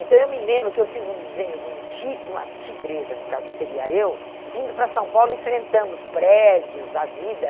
Então eu me lembro que eu fiz um desenho de um ti de uma tigresa, no caso que seria eu, vindo para São Paulo, enfrentando os prédios, a vida.